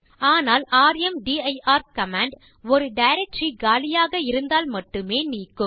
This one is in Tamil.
ஆனால் ர்ம்தீர் கமாண்ட் ஒரு டைரக்டரி காலியாக இருந்தால் மட்டுமே நீக்கும்